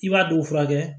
I b'a dɔw furakɛ